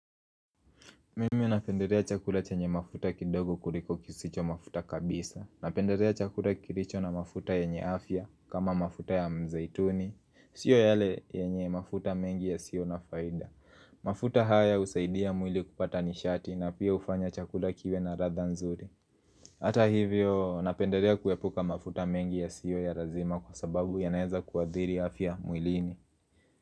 Mimi napenderea chakula chanye mafuta kidogo kuriko kisicho mafuta kabisa Napenderea chakula kiricho na mafuta yenye afya kama mafuta ya mzaituni Sio yale yenye mafuta mengi ya sio na faida mafuta haya usaidia mwili kupata nishati na pia ufanya chakula kiwe na radha nzuri Hata hivyo napenderea kuepuka mafuta mengi ya sio ya razima kwa sababu ya naeza kuadhiri afya mwilini.